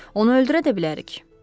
Onu öldürə də bilərik.